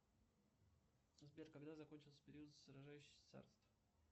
сбер когда закончился период сражающихся царств